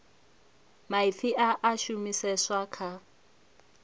maipfi a a shumiseswa kha